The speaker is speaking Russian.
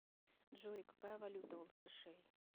джой какая валюта у латышей